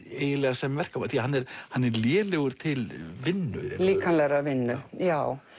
sem verkamaður því hann er hann er lélegur til vinnu líkamlegrar vinnu já